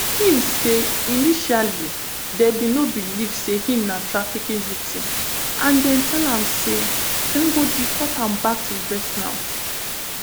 im say initially dem bin no believe say im na trafficking victim and dem tell am say dem go deport am back to vietnam